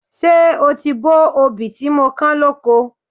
Ṣé o ti bó obì tí mo kán lóko?